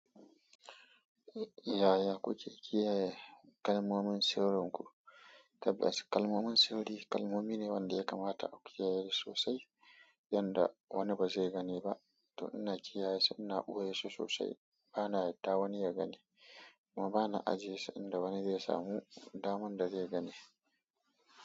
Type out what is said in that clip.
Yaya kuke kiyaye kalmomin sirrinku? Tabbas kalmomin sirri kalmomi ne wanda ya kamata a kiyaye sosai yanda wani ba zai gani ba. To ina kiyaye su ina ɓoye su sosai bana yadda wani ya gani kuma bana ajiye su inda wani zai samu daman da zai gani.